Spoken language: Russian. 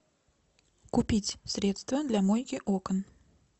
купить средство для мойки окон